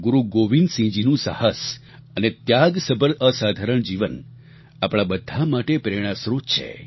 ગુરુ ગોવિંદસિંહજીનું સાહસ અને ત્યાગસભર અસાધારણ જીવન આપણા બધા માટે પ્રેરણાસ્રોત છે